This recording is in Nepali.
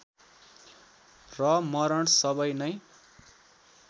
र मरण सबै नै